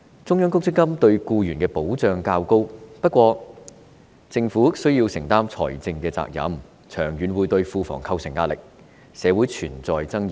中央公積金制度對僱員的保障較高，但政府需要承擔財政責任，長遠會對庫房構成壓力，社會存在爭議。